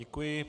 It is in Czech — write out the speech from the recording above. Děkuji.